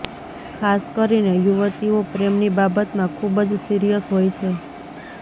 ખાસ કરીને યુવતીઓ પ્રેમની બાબતમાં ખૂબ જ સિરિયસ હોય છે